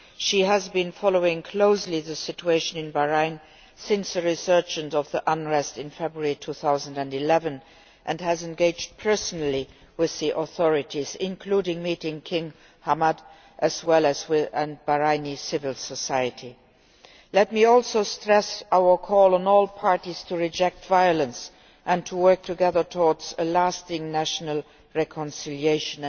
She has been closely following the situation in Bahrain since the resurgence of the unrest in February 2011 and has engaged personally with the authorities, including meeting King Hamad, as well as Bahraini civil society. Let me also stress our call on all parties to reject violence and to work together towards a lasting national reconciliation